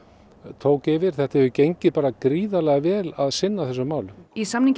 tók yfir það hefur gengið bara gríðarlega vel að sinna þessum málum í samningi